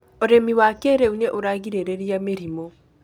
Ũrĩmi wa kĩrĩu nĩ ũragĩrĩrĩria mĩrimũ